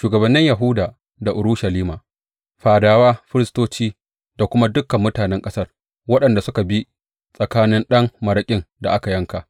Shugabannin Yahuda da Urushalima, fadawa, firistoci da kuma dukan mutanen ƙasar waɗanda suka bi tsakanin ɗan maraƙin da aka yanka,